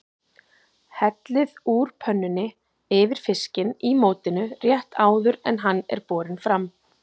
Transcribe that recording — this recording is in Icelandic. Hellið úr pönnunni yfir fiskinn í mótinu rétt áður en hann er borinn fram.